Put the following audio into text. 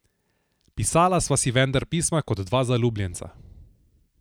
Pisala sva si vendar pisma kot dva zaljubljenca.